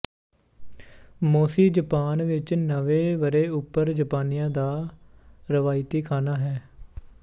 ਮੋਸ਼ੀ Japan ਵਿੱਚ ਨਵੇਂ ਵਰੇ ਉਪਰ ਜਪਾਨੀਆਂ ਦਾ ਰਵਾਇਤੀ ਖਾਨਾ ਹੈ